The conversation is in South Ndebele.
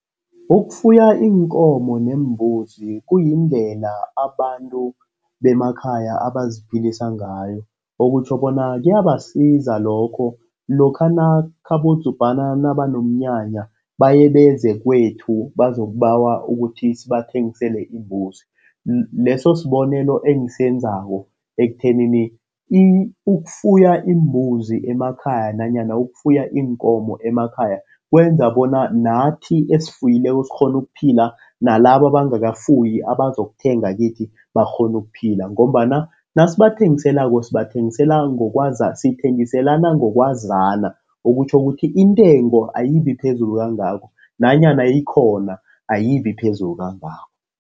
Ukufuya iinkomo neembuzi kuyindlela abantu bemakhaya abaziphilsa ngayo okutjho bona kuyabasiza lokho ekhabo Dzubhana banomnyanya baye beze kwethu bazikubawa bona sibathengisele imbuzi. Leso sibonelo engisenzako ekuthenini ukufuya iimbuzi emakhaya nanyana ukufuya iinkomo emakhaya kwenza bona nathi esifuyileko sikghone ukuphila, nalaba abangakafuyi abazokuthenga kithi bakghone ukuphila ngombana nasibathengiselako sithengiselana ngokwazani okutjho ukuthi intengo ayibi phezulu kangako nanyana ikhona ayibi phezulu kangako.